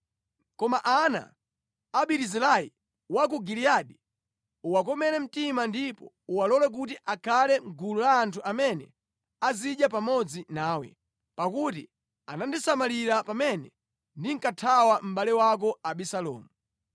“Koma ana a Barizilai wa ku Giliyadi uwakomere mtima ndipo uwalole kuti akhale mʼgulu la anthu amene azidya pamodzi nawe. Pakuti anandisamalira pamene ndinkathawa mʼbale wako Abisalomu.